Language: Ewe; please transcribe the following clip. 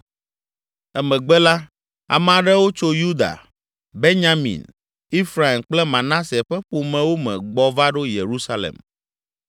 Emegbe la, ame aɖewo tso Yuda, Benyamin, Efraim kple Manase ƒe ƒomewo me gbɔ va ɖo Yerusalem.